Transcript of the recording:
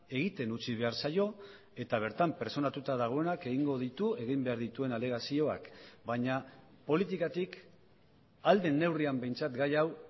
egiten utzi behar zaio eta bertan pertsonatuta dagoenak egingo ditu egin behar dituen alegazioak baina politikatik ahal den neurrian behintzat gai hau